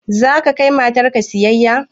Za ka kai matar ka siyayya?